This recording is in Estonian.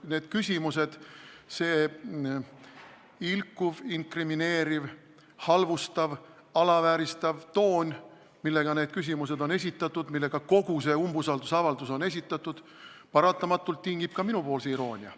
Need küsimused, see ilkuv, inkrimineeriv, halvustav, alavääristav toon, millega need küsimused on esitatud, millega kogu see umbusaldusavaldus on esitatud, tingib paratamatult ka minu iroonia.